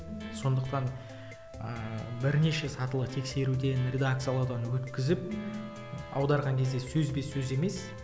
сондықтан ыыы бірнеше сатылы тексеруден редакциялаудан өткізіп аударған кезде сөзбе сөз емес